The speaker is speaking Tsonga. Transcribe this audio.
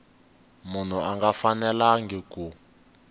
munhu a nga fanelangi ku